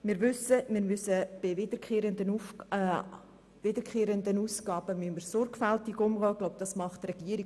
Wir wissen, dass wir mit wiederkehrenden Ausgaben sorgfältig umgehen müssen, und ich glaube, das tut die Regierung.